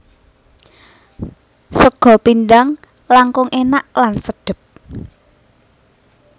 Sega pindhang langkung enak lan sedep